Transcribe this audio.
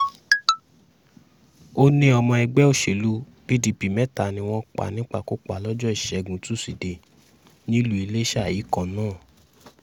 ó ní ọmọ ẹgbẹ́ òsèlú pdp mẹ́ta ni wọ́n pa nípakúpa lọ́jọ́ ìṣẹ́gun tusidee nílùú iléṣà yìí kan náà